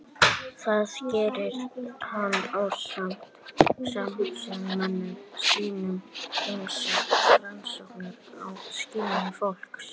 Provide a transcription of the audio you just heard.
Þar gerði hann ásamt samstarfsmönnum sínum ýmsar rannsóknir á skynjun fólks.